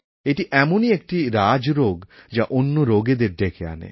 এটি এমনই একটি রাজরোগ যা অন্য রোগেদের ডেকে আনে